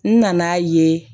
N nana ye